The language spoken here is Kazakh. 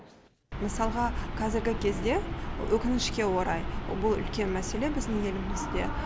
мысалға кәзіргі кезде өкінішке орай бұл үлкен мәселе біздің елімізде